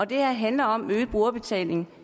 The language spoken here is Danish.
det her handler om øget brugerbetaling